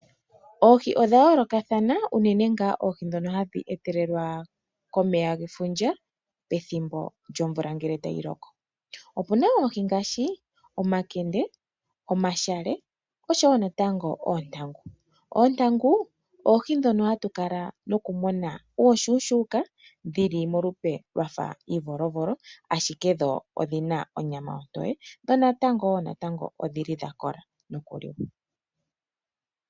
Oohi odha yoolokathana unene ngaa oihi ndhono hadhi etelwa komeya gefundja pethimbo lyomvula ngele tayi loko. Opuna oohi ngaashi omakende , omashale osho woo natango oontangu. Oontangu oohi ndhono hatu kala nokumuna uushuushuuka dhili molupe lwafa iivolovolo ashike dho odhina onyama ontoye dho woo natango odhili dha kola nokuliwa.